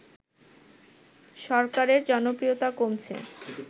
সরকারের জনপ্রিয়তা কমছে